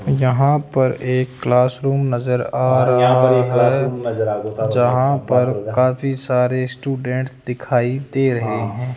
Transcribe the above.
यहां पर एक क्लास रूम नजर आ रहा है जहां पर काफी सारे स्टूडेंट्स दिखाई दे रहे हैं।